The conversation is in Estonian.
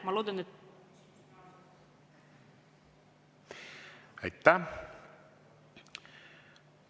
Aitäh!